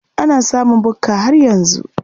Ana samun bukka har yanzu.